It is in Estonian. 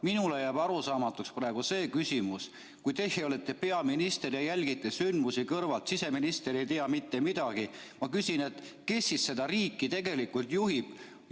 Minule jääb arusaamatuks praegu see, et kui teie olete peaminister, aga jälgite sündmusi kõrvalt, ja siseminister ei tea ka mitte midagi, siis kes seda riiki tegelikult juhib.